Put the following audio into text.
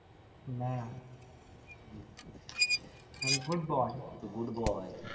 না আমি Good boy